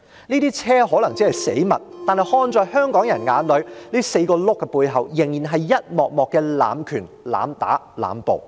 這些車可能只是死物，但看在香港人眼裏 ，4 個車輪的背後是一幕幕濫權、濫打、濫捕。